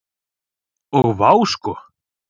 Og vá sko.